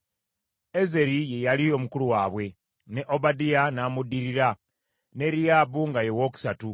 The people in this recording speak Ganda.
Ezeri ye yali omukulu waabwe, ne Obadiya n’amuddirira, ne Eriyaabu nga ye wookusatu,